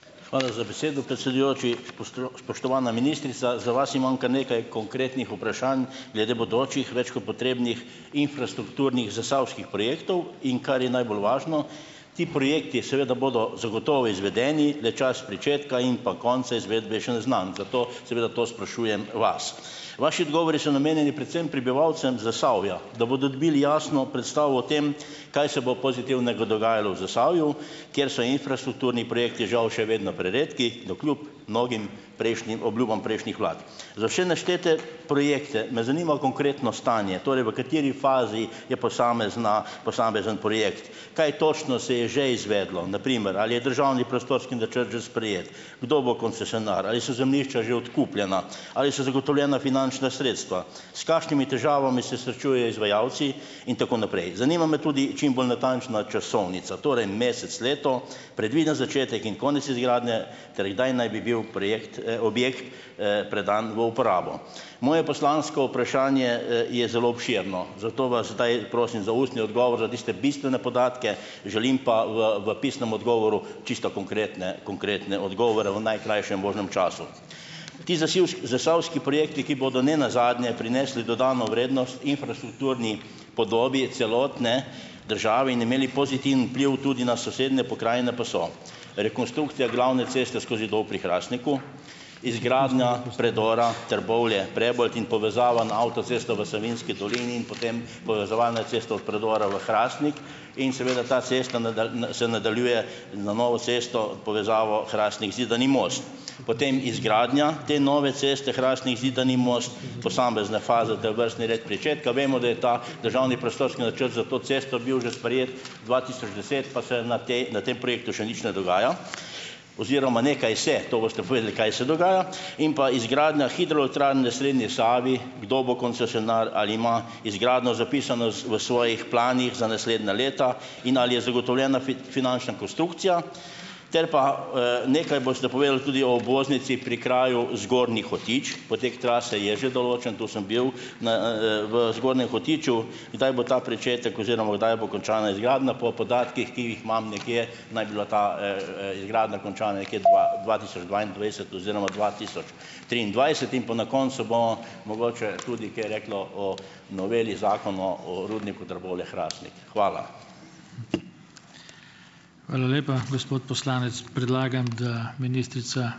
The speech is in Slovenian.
Hvala za besedo, predsedujoči. spoštovana ministrica! Za vas imam kar nekaj konkretnih vprašanj glede bodočih, več kot potrebnih infrastrukturnih zasavskih projektov, in kar je najbolj važno, ti projekti seveda bodo zagotovo izvedeni, le čas pričetka in pa konca izvedbe je še neznan, zato seveda to sprašujem vas. Vaši odgovori so namenjeni predvsem prebivalcem Zasavja, da bodo dobili jasno predstavo o tem kaj se bo pozitivnega dogajalo v Zasavju, kjer so infrastrukturni projekti žal še vedno preredki navkljub mnogim prejšnjim obljubam prejšnjih vlad. Za vse naštete projekte me zanima konkretno stanje, torej v kateri fazi je posamezna posamezen projekt, kaj točno se je že izvedlo. Na primer, ali je državni prostorski načrt že sprejet, kdo bo koncesionar, ali so zemljišča že odkupljena, ali so zagotovljena finančna sredstva. S kakšnimi težavami se srečuje izvajalci, in tako naprej. Zanima me tudi čim bolj natančna časovnica. Torej, mesec, leto, predviden začetek in konec izgradnje ter kdaj naj bi bil projekt objekt predan v uporabo. Moje poslansko vprašanje je zelo obširno, zato vas zdaj prosim za ustni odgovor, za tiste bistvene podatke, želim pa v v pisnem odgovoru čisto konkretne konkretne odgovore v najkrajšem možnem času. Ti zasivs zasavski projekti, ki bodo nenazadnje prinesli dodano vrednost infrastrukturni podobi celotne države in imeli pozitiven vpliv tudi na sosednje pokrajine, pa so: rekonstrukcija glavne ceste skozi Dol pri Hrastniku, izgradnja predora Trbovlje-Prebold in povezava na avtocesto v Savinjski dolini in potem povezovalna cesta od predora v Hrastnik in seveda ta cesta se nadaljuje na novo cesto, povezavo Hrastnik-Zidani Most. Potem, izgradnja te nove ceste Hrastnik-Zidani Most, posamezne faze ter vrstni red pričetka; vemo, da je ta državni prostorski načrt za to cesto bil že sprejet dva tisoč deset, pa se na tej na tem projektu še nič ne dogaja oziroma nekaj se, to boste povedali, kaj se dogaja. In pa izgradnja hidrolektrarne na srednji Savi, kdo bo koncesionar, ali ima izgradnjo zapisano z v svojih planih za naslednja leta in ali je zagotovljena finančna konstrukcija. Ter pa nekaj boste povedali tudi o obvoznici pri kraju Zgornji Hotič, potek trase je že določen, to sem bil, na v Zgornjem Hotiču, kdaj bo ta pričetek oziroma kdaj bo končana izgradnja; po podatkih, ki jih imam nekje, naj bi bila ta izgradnja končana nekje dva dva tisoč dvaindvajset oziroma dva tisoč triindvajset. In pa na koncu bomo mogoče tudi kaj rekli o noveli Zakona o rudniku Trbovlje-Hrastnik. Hvala.